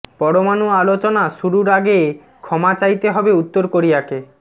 পরমাণু আলোচনা শুরুর আগে ক্ষমা চাইতে হবে উত্তর কোরিয়াকে